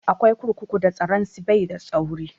Akwai kurkuku da tsaron su bai da tsauri